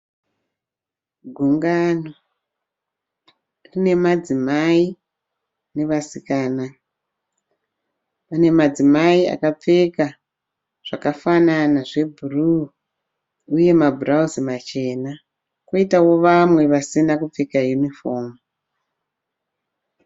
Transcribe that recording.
Gugano rine madzimai nevaskana. Pane madzimai akapfeka zvakafanana zvebhuruu uye mabhurawusi machena koitawo vamwe vasina kupfeka yunifomu.